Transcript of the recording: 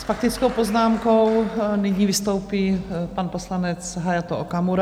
S faktickou poznámkou nyní vystoupí pan poslanec Hayato Okamura.